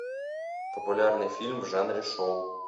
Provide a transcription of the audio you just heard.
популярный фильм в жанре шоу